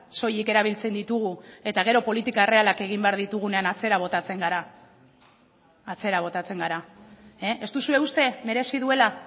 soilik erabiltzen ditugu eta gero politika errealak egin behar ditugunean atzera botatzen gara atzera botatzen gara ez duzue uste merezi duela